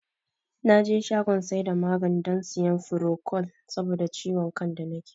Naje shagon saida maganin don siyan furokol saboda ciwon man da nake